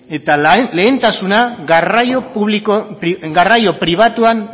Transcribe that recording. eta lehentasuna garraio pribatuan